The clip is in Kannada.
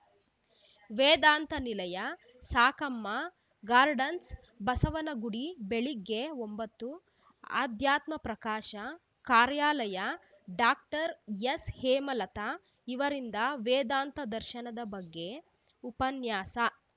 ವೇದಾಂತ ನಿಲಯ ಸಾಕಮ್ಮ ಗಾರ್ಡನ್ಸ್‌ ಬಸವನಗುಡಿ ಬೆಳಗ್ಗೆ ಒಂಬತ್ತು ಅಧ್ಯಾತ್ಮ ಪ್ರಕಾಶ ಕಾರ್ಯಾಲಯ ಡಾಕ್ಟರ್ ಎಸ್‌ಹೇಮಲತಾ ಅವರಿಂದ ವೇದಾಂತ ದರ್ಶನ ಬಗ್ಗೆ ಉಪನ್ಯಾಸ